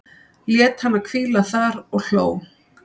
Lét hana hvíla þar og hló.